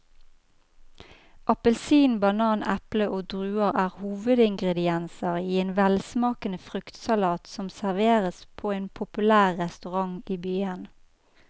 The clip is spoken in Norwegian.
Appelsin, banan, eple og druer er hovedingredienser i en velsmakende fruktsalat som serveres på en populær restaurant i byen.